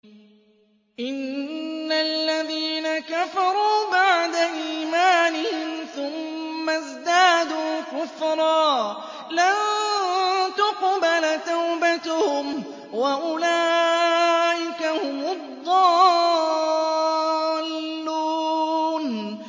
إِنَّ الَّذِينَ كَفَرُوا بَعْدَ إِيمَانِهِمْ ثُمَّ ازْدَادُوا كُفْرًا لَّن تُقْبَلَ تَوْبَتُهُمْ وَأُولَٰئِكَ هُمُ الضَّالُّونَ